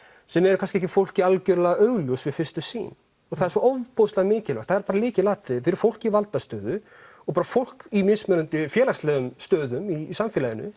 sem er kannski fólki algerlega augljós við fyrstu sýn og það er svo ofboðslega mikilvægt það er lykilatriði fyrir fólk í valdastöðu og fólk í mismunandi félagslegum stöðum í samfélaginu